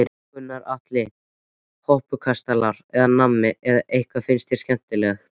Gunnar Atli: Hoppukastalar eða nammi eða hvað finnst þér skemmtilegt?